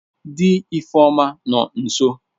Di Ifeoma no nso.